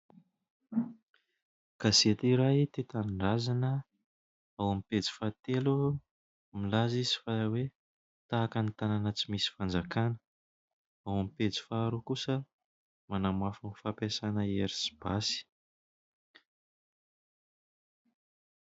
Gazety iray « Tia Tanindrazana ». Ao amin'ny pejy fahatelo milaza izy fa hoe :« Tahaka ny tanàna tsy misy fanjakana », ao amin'ny pejy faharoa kosa :« Manamafy ny fampiasana hery sy basy ».